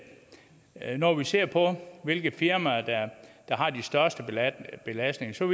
når vi ser på hvilke firmaer der har de største belastninger så